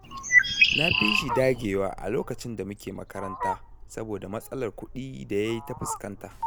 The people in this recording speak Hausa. Na fi shi dagewa a lokacin da muke makaranta, saboda matsalar kuɗi da ya yi ta fuskanta.